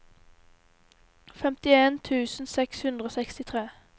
femtien tusen seks hundre og sekstitre